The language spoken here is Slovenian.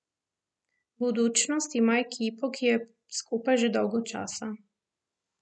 Budućnost ima ekipo, ki je skupaj že dolgo časa.